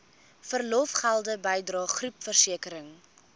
verlofgelde bydrae groepversekering